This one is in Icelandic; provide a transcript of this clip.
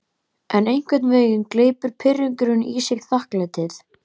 En einhvern veginn gleypir pirringurinn í sig þakklætið.